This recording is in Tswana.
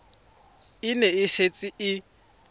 e ne e setse e